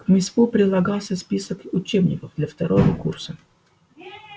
к письму прилагался список учебников для второго курса